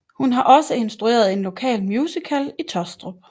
Hun har også instrueret en lokal musical i Taastrup